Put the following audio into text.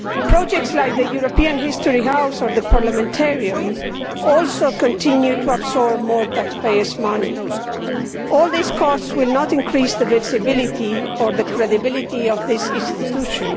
Projects like the European House of History or the Parliamentarium also continue to absorb more taxpayers' money. All these costs will not increase the visibility or the credibility of this institution.